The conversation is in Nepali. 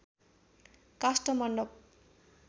काष्ठमण्डप